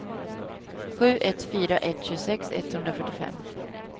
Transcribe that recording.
sju ett fyra ett tjugosex etthundrafyrtiofem